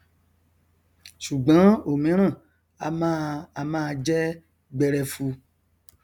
ṣùgbọn òmíràn a máa a máa jẹ gberefu